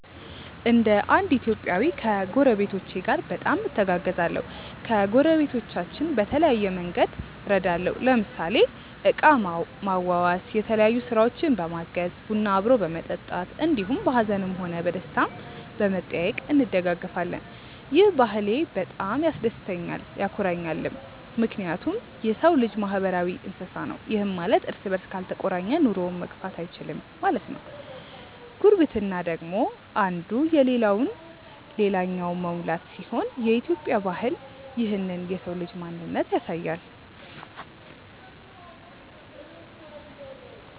እንደ እንድ ኢትዮጵያዊ ከጐረቤቶቼ ጋር በጣም እተጋገዛለሁ። ከጐረቤቶቻችን በተለያየ መንግድ እረዳለሁ ለምሳሌ እቃ ማዋዋስ፣ የተለያዮ ስራውችን በማገዝ፣ ቡና አብሮ በመጠጣት እንዲሁም በሀዝንም ሆነ በደስታም በመጠያዬቅ እንደጋገፋለን። ይህ ባህሌ በጣም ያስደስተኛልም ያኮራኛልም ምክንያቱም የሰው ልጅ ማህበራዊ እንስሳ ነው ይህም ማለት እርስ በርስ ካልተቆራኘ ኑሮውን መግፋት እይችልም ማለት ነው። ጉርብትና ደግሞ እንዱ የለለውን ልላኛው መሙላት ሲሆን የኢትዮጵያ ባህል ይህንን የሰው ልጅ ማንነት ያሳያል።